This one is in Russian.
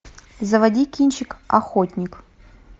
заводи кинчик охотник